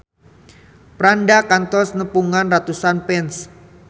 Franda kantos nepungan ratusan fans